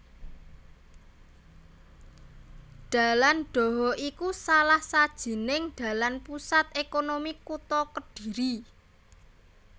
Dalan Dhoho iku salah sajining dalan pusat ékonomi kutha Kediri